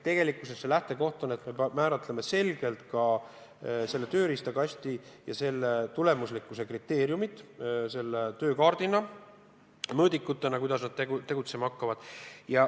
Lähtekoht on, et me määratleme konkreetselt selle tööriistakasti ja selle tulemuslikkuse kriteeriumid mõõdikutena, kuidas nad tegutsema hakkavad.